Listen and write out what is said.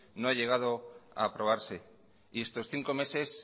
no ha llegado a aprobarse y estos cinco meses